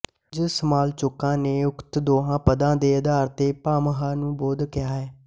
ਕੁੱਝ ਸਮਾਲੋਚਕਾਂ ਨੇ ਉਕਤ ਦੋਹਾਂ ਪਦਾਂ ਦੇ ਆਧਾਰ ਤੇ ਭਾਮਹ ਨੂੰ ਬੋਧ ਕਿਹਾ ਹੈ